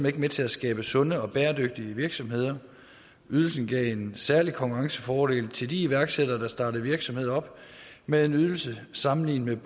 ikke med til at skabe sunde og bæredygtige virksomheder ydelsen gav en særlig konkurrencefordel til de iværksættere der startede virksomheder op med en ydelse sammenlignet med